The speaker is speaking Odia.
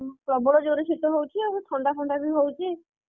ଆଉ ପ୍ରବଳ ଜୋରେ ଶୀତ ହଉଛି ଆଉ ଥଣ୍ଡା ଫଣ୍ଡା ବି ହଉଛି।